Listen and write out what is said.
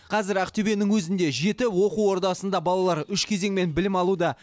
қазір ақтөбенің өзінде жеті оқу ордасында балалар үш кезеңмен білім алуда